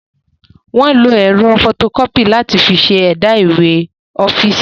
Wọ́n ń lo ẹ̀rọ fọtokọ́pì láti fi ṣe ẹ̀dà ìwé ọ́fíìsì.